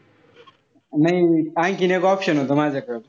नाई आणखीन एक option होता माझ्याकडं.